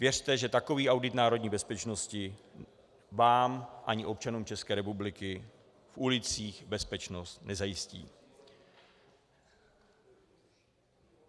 Věřte, že takový audit národní bezpečnosti vám ani občanům České republiky v ulicích bezpečnost nezajistí.